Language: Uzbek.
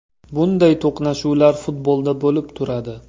Bunday to‘qnashuvlar futbolda bo‘lib turadi.